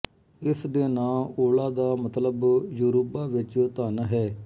ਇਸਦੇ ਨਾਂ ਓਲਾ ਦਾ ਮਤਲਬ ਯੋਰੁਬਾ ਵਿੱਚ ਧਨ ਹੈ